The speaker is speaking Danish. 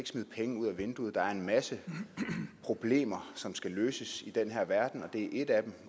smide penge ud af vinduet der er en masse problemer som skal løses i den her verden og det her er et af dem